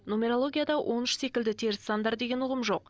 нумерологияда он үш секілді теріс сандар деген ұғым жоқ